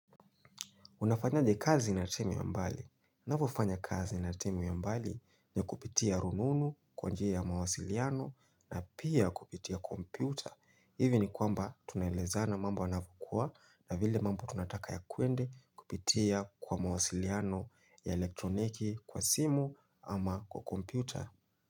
Unafanyaje kazi na temi ya mbali. Navyo fanya kazi na temi ya mbali ni kupitia rununu kwa njia ya mawasiliano na pia kupitia kompyuta. Ivi ni kwamba tunaleza na mamba wanafukua na vile mamba tunataka ya kwende kupitia kwa mawasiliano ya elektroniki kwa simu ama kwa kompyuta.